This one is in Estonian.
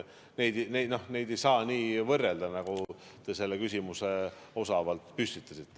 Neid ei saa nii võrrelda, nagu te selle küsimuse osavalt püstitasite.